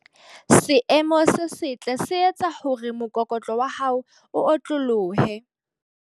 Seemo se setle se etsa hore mokokotlo wa hao o otlolohe.